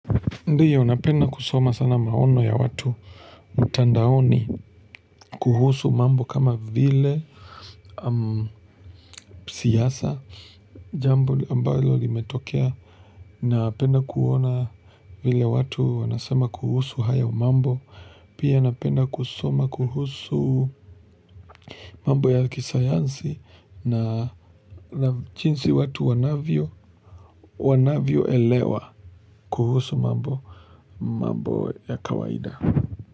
Ndio napenda kusoma sana maono ya watu mtandaoni kuhusu mambo kama vile siasa jambo ambalo limetokea. Napenda kuona vile watu wanasema kuhusu haya mambo. Pia napenda kusoma kuhusu mambo ya kisayansi na jinsi watu wanavyo elewa kuhusu mambo ya kawaida.